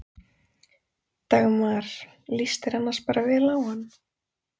Dagmar: Líst þér annars bara vel á hann?